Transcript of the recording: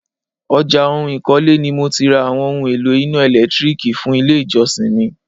ọjà oun ìkọ́lé ni mo ti ra àwọn oún èlò iná ẹ̀lẹ́tírìkì fún ilé ìjọsìn mi.